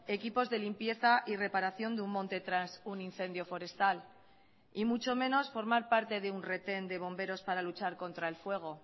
equipos de limpieza y reparación de un monte tras un incendio forestal y mucho menos formar parte de un retén de bomberos para luchar contra el fuego